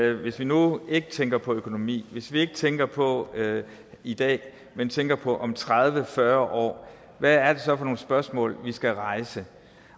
at hvis vi nu ikke tænker på økonomi hvis vi ikke tænker på i dag men tænker på om tredive fyrre år hvad er det så for nogle spørgsmål vi skal rejse